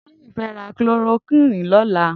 Toyin fè rà klórókwìní lọ̀lá